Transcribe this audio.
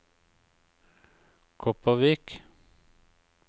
Kopervik